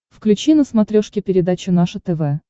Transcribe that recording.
включи на смотрешке передачу наше тв